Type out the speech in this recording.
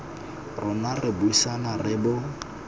rona re buisana re bo